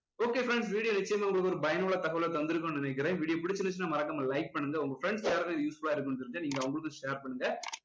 okay friends video நிச்சயமா உங்களுக்கு ஒரு பயனுள்ள தகவலை தந்திருக்குன்னு நினைக்கிறேன் video புடிச்சிருந்துச்சுனா மறக்காம like பண்ணுங்க உங்க friends யாருக்காவது useful லா இருக்குன்னு தெரிஞ்சா நீங்க அவங்களுக்கும் share பண்ணுங்க